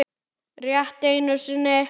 Rétt einu sinni.